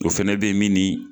O fɛnɛ bɛ min